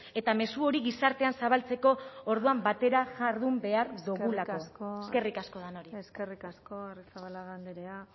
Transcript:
eta mezu hori gizartean zabaltzeko orduan batera jardun behar dugulako eskerrik asko denoi eskerrik asko arrizabalaga andrea